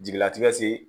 Jigilatigɛ se